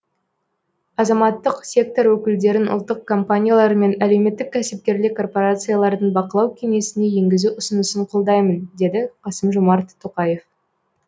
азаматтық сектор өкілдерін ұлттық компаниялар мен әлеуметтік кәсіпкерлік корпорациялардың бақылау кеңесіне енгізу ұсынысын қолдаймын деді қасым жомарт тоқаев